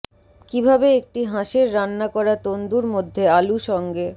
কিভাবে একটি হাঁসের রান্না করা তন্দুর মধ্যে আলু সঙ্গে